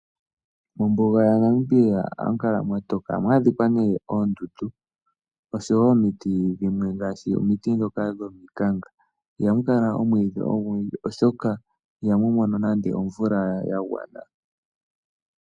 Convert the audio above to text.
Mombuga yaNamibia ohamu kala mwatoka ohamu adhika oondundu osho woo omiti dhimwe ngaashi omiti dhoka dhomikanka ihamu kala. omwiidhi ogundji oshoka ihamu mono omvula yagwana.